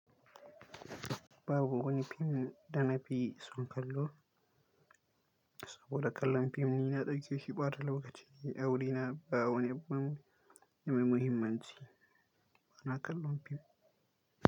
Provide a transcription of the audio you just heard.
Babu wani fim da nafi son kallo saboda kallon fim ni na ɗauke shi ɓata lokaci. Yau dai na ba wani fim muhimmanci, bana kallon fim.